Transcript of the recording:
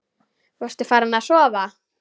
Varstu farin að sofa?